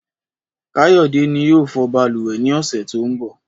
Káyọ̀dé ni yóò fọ balùwẹ̀ ní ọ̀sẹ̀ tó ń bọ̀